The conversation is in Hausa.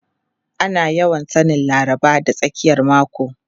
Ana yawan sanin Laraba da tsakiyar mako.